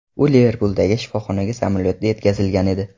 U Liverpuldagi shifoxonaga samolyotda yetkazilgan edi.